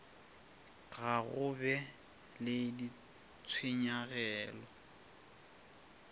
ga go be le ditshenyagelo